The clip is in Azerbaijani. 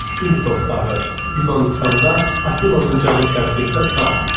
İmitos dağı, Yunanıstanda, Afinanın cənub-şərqində dağ.